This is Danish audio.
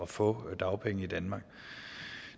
få dagpenge i danmark